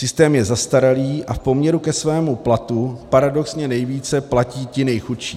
Systém je zastaralý a v poměru ke svému platu paradoxně nejvíce platí ti nejchudší.